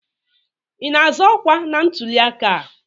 Ị na-azọ ọkwa na ntuliaka a?